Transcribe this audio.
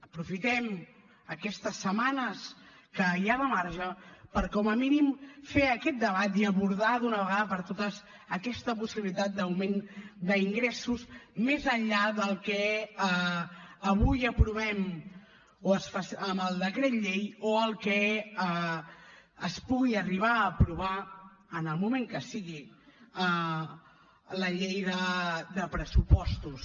aprofitem aquestes setmanes que hi ha de marge per com a mínim fer aquest debat i abordar d’una vegada per totes aquesta possibilitat d’augment d’ingressos més enllà del que avui aprovem amb el decret llei o el que es pugui arribar a aprovar en el moment que sigui la llei de pressupostos